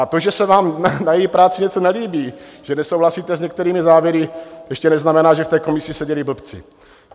A to, že se vám na její práci něco nelíbí, že nesouhlasíte s některými závěry, ještě neznamená, že v té komisi seděli blbci.